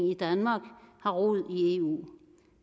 i danmark har rod i eu